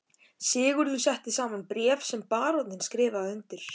Sigurður setti saman bréf sem baróninn skrifaði undir.